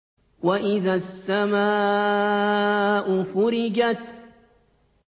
وَإِذَا السَّمَاءُ فُرِجَتْ